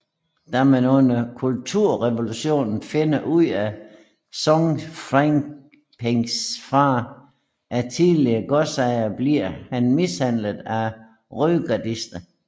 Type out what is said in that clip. Da man under Kulturrevolutionen finder ud af at Song Fanpings far er tidligere godsejer bliver han mishandlet af rødgardister